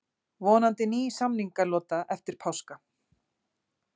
Borgþóra, einhvern tímann þarf allt að taka enda.